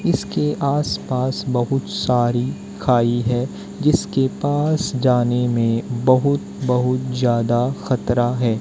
इसके आसपास बहुत सारी खाई है जिसके पास जाने में बहुत बहुत ज्यादा खतरा है।